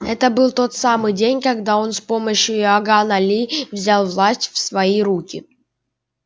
это был тот самый день когда он с помощью иоганна ли взял власть в свои руки